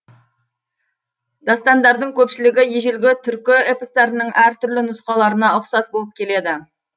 дастандардың көпшілігі ежелгі түркі эпостарының әр түрлі нұсқаларына ұқсас болып келеді